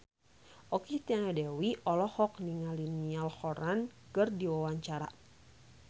Okky Setiana Dewi olohok ningali Niall Horran keur diwawancara